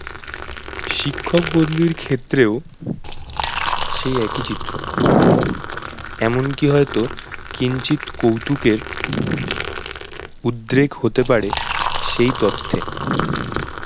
শিক্ষক বদলির ক্ষেত্রেও সেই একই চিত্র এমন কি হয়ত কিঞ্চিৎ কৌতুকের উদ্রেক হতে পারে সেই তথ্যে